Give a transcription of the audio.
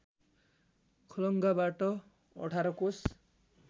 खलङ्गाबाट १८ कोष